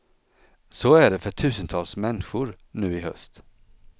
Så är det för tusentals mänskor nu i höst.